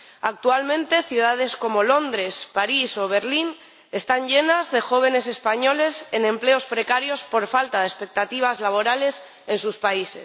Actualmente, ciudades como Londres, París o Berlín están llenas de jóvenes españoles en empleos precarios por falta de expectativas laborales en su país.